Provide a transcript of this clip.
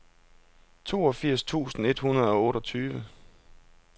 toogfirs tusind et hundrede og otteogtyve